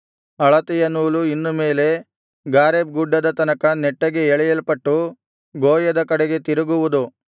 ಅಳತೆಯ ನೂಲು ಇನ್ನು ಮೇಲೆ ಗಾರೇಬ್ ಗುಡ್ಡದ ತನಕ ನೆಟ್ಟಗೆ ಎಳೆಯಲ್ಪಟ್ಟು ಗೋಯದ ಕಡೆಗೆ ತಿರುಗುವುದು